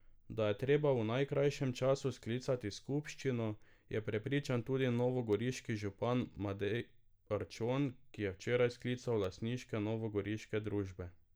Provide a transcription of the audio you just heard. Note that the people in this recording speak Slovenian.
Da je treba v najkrajšem času sklicati skupščino, je prepričan tudi novogoriški župan Matej Arčon, ki je včeraj sklical lastnike novogoriške družbe.